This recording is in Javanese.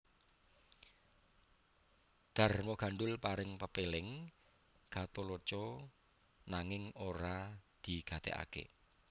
Darmagandhul paring pepéling Gatholoco nanging ora digatèkaké